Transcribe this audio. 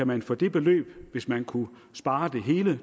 man for det beløb hvis man kunne spare det hele